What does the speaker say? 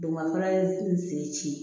Dugumala ye n sen ci